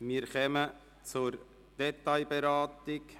Wir kommen zur Detailberatung.